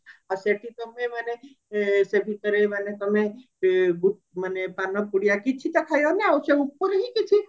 ଆଉ ସେଠି ତମେ ମାନେ ସେ ଭିତରେ ମାନେ ତମେ ମାନେ ପାନ ପୁଡିଆ କିଛି ତ ଖାଇ ଆଉ ସେ ଉପୁରି ହିଁ